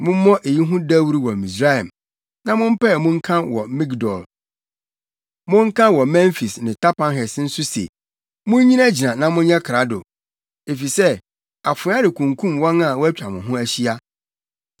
“Mommɔ eyi ho dawuru wɔ Misraim, na mompae mu nka wɔ Migdol; monka wɔ Memfis ne Tapanhes nso se, ‘Munnyinagyina na monyɛ krado, efisɛ, afoa rekunkum wɔn a wɔatwa mo ho ahyia.’